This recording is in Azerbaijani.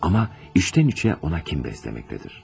Amma içdən-içə ona kin bəsləməkdədir.